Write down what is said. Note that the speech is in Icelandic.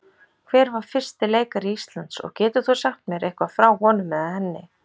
Hver var fyrsti leikari Íslands og getur þú sagt mér eitthvað frá honum eða henni?